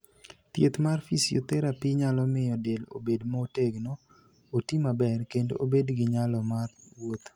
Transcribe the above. Thieth mar physiotherapy nyalo miyo del obed motegno, oti maber, kendo obed gi nyalo mar wuotho.